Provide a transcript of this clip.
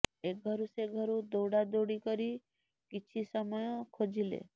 ଏଘରୁ ସେ ଘରୁ ଦୌଡାଦୌଡ଼ି କରି କିଛି ସମୟ ଖୋଜିଲେ